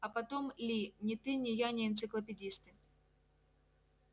а потом ли ни ты ни я не энциклопедисты